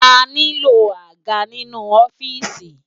Àniló ágá ninú òfìsí